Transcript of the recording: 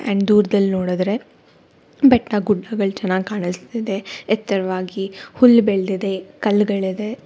ಹ್ಮ್ ದೂರದಲ್ಲಿ ನೋಡುದ್ರೆ ಬೆಟ್ಟ ಗುಡ್ಡಗಳು ಚೆನ್ನಾಗ್ ಕಾಣಿಸ್ತಾ ಇದೆ ಎತ್ತರವಾಗಿ ಹುಲ್ಲು ಬೆಳ್ದಿದೆ ಕಲ್ಲುಗಳಿದೆ.